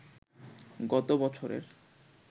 গত বছরের